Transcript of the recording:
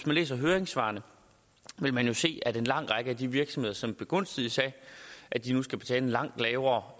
man læser høringssvarene vil man jo se at en lang række af de virksomheder som begunstiges af at de nu skal betale en langt lavere